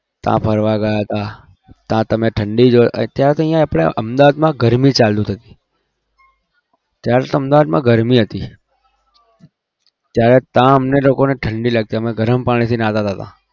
ત્યાં ફરવા ગયા હતા. ત્યાં તમે ઠંડી જો અત્યારે તો અહીંયા આપણે અમદાવાદમાં ગરમી ચાલુ થતી. ત્યારે તો અમદાવાદમાં ગરમી હતી ત્યારે ત્યાં અમને લોકોને ઠંડી લાગતી અમે ગરમ પાણીથી નાહતા હતા.